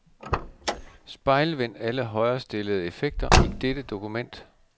Spejlvend alle højrestillede effekter i dette dokument.